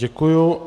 Děkuji.